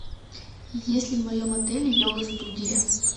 есть ли в моем отеле йога студия